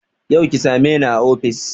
Yau ki same ni a ofis